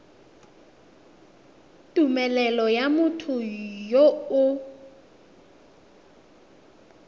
tumelelo ya motho yo o